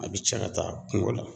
A bɛ cɛ ka taa kungo la.